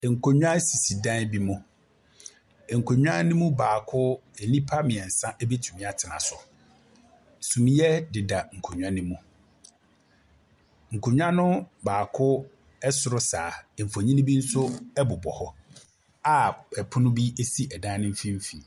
Nkonnwa bi si ɛdan bi mu, nkonnwa ne mu baako nnipa mmiɛnsa bɛtumi atena so. Sunea deda nkonnwa ne mu. Nkonnwa ne mu baako ɛsoro saa mfonini bi nso ɛbobɔ hɔ a pono bi ɛsi dan ne mfimfini.